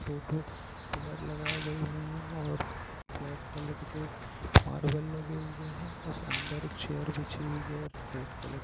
दो ठो पिलर लगाए गये हुए है और ब्लैक कलर मार्वल लगे हुए है और अंदर चेयर बिछी हुई है रेड कलर की।